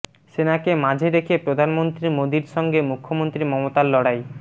সেনাকে মাঝে রেখে প্রধানমন্ত্রী মোদীর সঙ্গে মুখ্যমন্ত্রী মমতার লড়াই